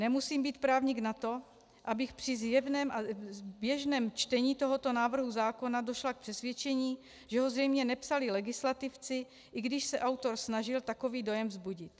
Nemusím být právník na to, abych při zjevném a zběžném čtení tohoto návrhu zákona došla k přesvědčení, že ho zřejmě nepsali legislativci, i když se autor snažil takový dojem vzbudit.